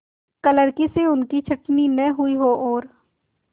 क्लर्की से उनकी छँटनी न हुई हो और